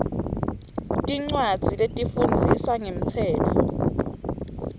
tincwadzi letifundzisa ngemtsetfo